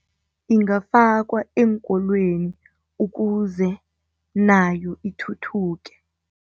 Ingafakwa eenkolweni ukuze nayo ithuthuke.